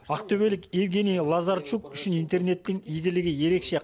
ақтөбелік евгений лазарчук үшін интернеттің игілігі ерекше